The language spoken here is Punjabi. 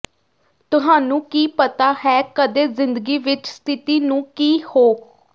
ਤੁਹਾਨੂੰ ਕੀ ਪਤਾ ਹੈ ਕਦੇ ਜ਼ਿੰਦਗੀ ਵਿਚ ਸਥਿਤੀ ਨੂੰ ਕੀ ਹੋ